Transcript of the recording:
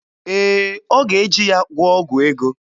Ee, ọ ga-eji ya gwụọ ọgwụ ego.